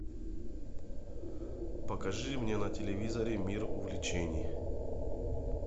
покажи мне на телевизоре мир увлечений